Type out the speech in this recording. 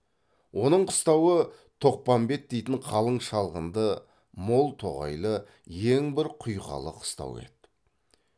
оның қыстауы тоқпамбет дейтін қалың шалғынды мол тоғайлы ең бір құйқалы қыстау еді